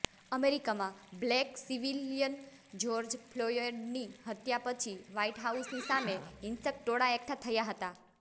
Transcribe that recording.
અમેરિકામાં black civilian George ફ્લોયડની હત્યા પછી વ્હાઇટ હાઉસની સામે હિંસક ટોળા એકઠા થયા હતા